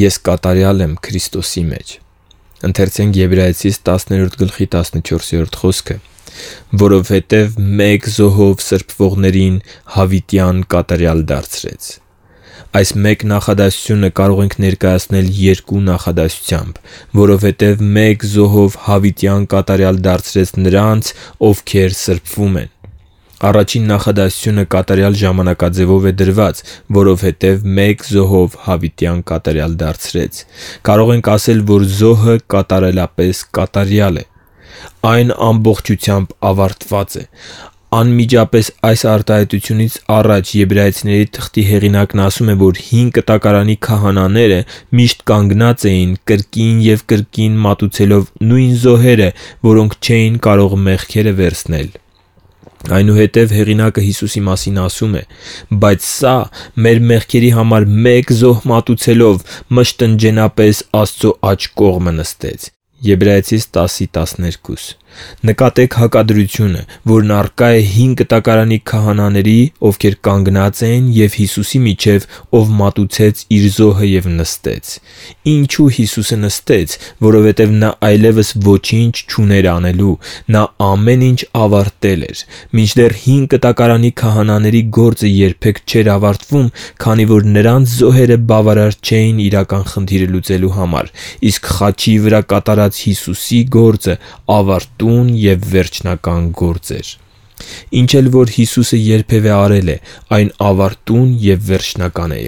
Ես կատարյալ եմ Քրիստոսի մեջ «Որովհետև մեկ զոհով սրբվողներին հավիտյան կատարյալ դարձրեց»։ Եբրայեցիներին 10:14 Այս մեկ նախադասությունը կարող ենք ներկայացնել երկու նախադասությամբ. «Որովհետև մեկ զոհով հավիտյան կատարյալ դարձրեց նրանց, ովքեր սրբվում են»։ Առաջին նախադասությունը կատարյալ ժամանակաձևով է դրված. «Որովհետև մեկ զահով… հավիտյան կատարյալ դարձրեց»։ Կարող ենք ասել, որ զոհը կատարելապես կատարյալ է։ Այն ամբողջությամբ ավարտված է։ Անմիջապես այս արտահայտությունից առաջ Եբրայեցիների թղթի հեղինակն ասում է, որ Հին Կտակարանի քահանաները միշտ կանգնած էին՝ կրկին և կրկին մատուցելով նույն զոհերը, որոնք չէին կարող մեղքերը վերցնել։ Այնուհետև հեղինակը Հիսուսի մասին ասում է. «Բայց սա, մեղքերի համար մեկ զոհ մատուցելով, մշտնջենապես Աստծու աջ կողմը նստեց»: Եբրայեցիներին 10:12 Նկատե՛ք հակադրությունը, որն առկա է Հին Կտակարանի քահանաների, ովքեր կանգնած էին, և Հիսուսի միջև, ով մատուցեց իր զոհը և նստեց։ Ինչու՞ Հիսուսը նստեց։ Որովհետև նա այլևս ոչինչ չուներ անելու։ Նա ամեն ինչ ավարտել էր։ Մինչդեռ Հին Կտակարանի քահանաների գործը երբեք չէր ավարտվում, քանի որ նրանց զոհերը բավարար չէին իրական խնդիրը լուծելու համար, իսկ խաչի վրա կատարած Հիսուսի գործը ավարտուն և վերջնական գործ էր։ Ինչ էլ որ Հիսուսը երբևէ արել է, այն ավարտուն և վերջնական է։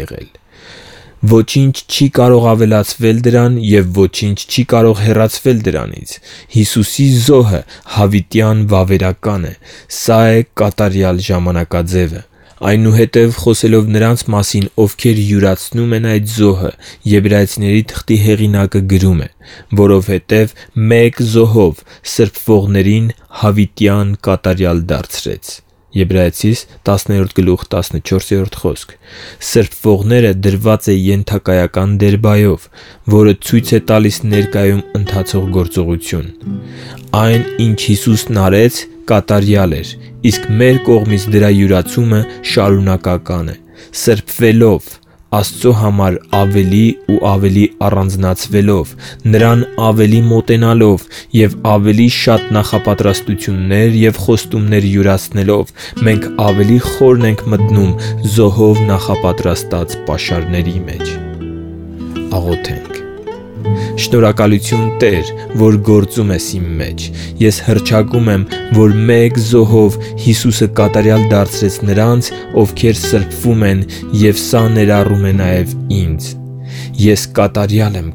Ոչինչ չի կարող ավելացվել դրան, և ոչինչ չի կարող հեռացվել դրանից։ Հիսուսի զոհը հավիտյան վավերական է։ Սա է կատարյալ ժամանակաձևը։ Այնուհետև, խոսելով նրանց մասին, ովքեր յուրացնում են այդ զոհը, Եբրայեցիների հեղինակը գրում է. «Որովհետև մեկ զոհով սրբվողներին հավիտյան կատարյալ դարձրեց» (Եբրայեցիներին 10:14)։ «Սրբվողները» դրված է ենթակայական դերբայով, որը ցույց է տալիս ներկայում ընթացող գործողություն։ Այն, ինչ Հիսուսն արեց, կատարյալ էր, իսկ մեր կողմից դրա յուրացումը շարունակական է։ Սրբվելով, Աստծո համար ավելի ու ավելի առանձնացվելով, Նրան ավելի մոտենալով և ավելի շատ նախապատրաստություններ ու խոստումներ յուրացնելով՝ մենք ավելի խորն ենք մտնում զոհով նախապատրաստած պաշարների մեջ։ Շնորհակալությու՛ն, Տե՛ր, որ գործում ես իմ մեջ։ Ես հռչակում եմ, որ մեկ զոհով Հիսուսը կատարյալ դարձրեց նրանց, ովքեր սրբվում են, և սա ներառում է նաև ինձ։ Ես կատարյալ եմ